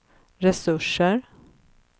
resurser